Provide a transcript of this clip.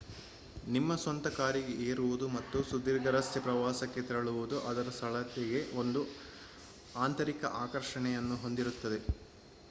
ನಿಮ್ಮ ಸ್ವಂತ ಕಾರಿಗೆ ಏರುವುದು ಮತ್ತು ಸುದೀರ್ಘ ರಸ್ತೆ ಪ್ರವಾಸಕ್ಕೆ ತೆರಳುವುದು ಅದರ ಸರಳತೆಗೆ ಒಂದು ಆಂತರಿಕ ಆಕರ್ಷಣೆಯನ್ನು ಹೊಂದಿರುತ್ತದೆ